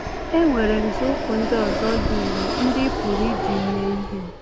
E nwere nzọụkwụ ndị ọzọ dị ire ndị ị pụrụ iji mee ihe.